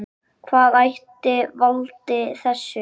Hvað ætli valdi þessu?